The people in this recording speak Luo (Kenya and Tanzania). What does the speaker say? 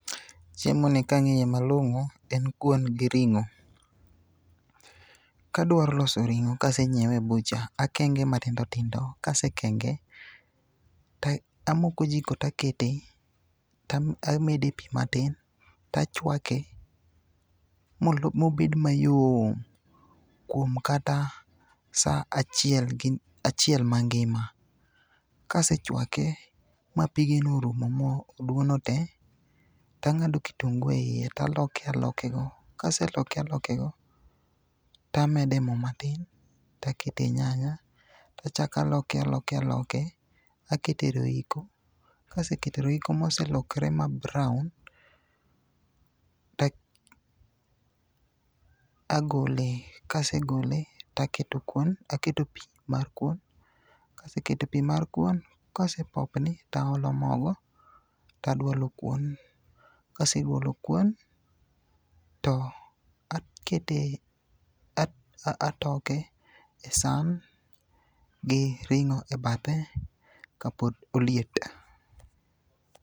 Chiemo ni kang'iye malong'o, en kuon gi ring'o. Kadwaro loso ring'o kasenyiewe e bucha, akenge matindo tindo. Kasekenge, tamoko jiko takete tamede pi matin, tachwake mobed mayom kuom kata sa achiel gi, achiel ma ngima. Kasechwake ma pigeno orumo mo oduono te, tang'ado kitungu e iye, taloke aloke go. Kase loke aloke go, tamede mo matin takete nyanya. Tachaka loke aloke aloke, akete roiko, kasekete roiko moselokre ma brown, ta agole. Kasegole, taketo kuon, aketo pi mar kuon. Kaseketo pi mar kuon, kosepopni taolo mogo, tadwalo kuon. Kasedwalo kuon, to akete atoke e san gi ring'o e bathe kapod oliet.